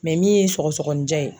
min ye sɔgɔsɔgɔnijɛ ye.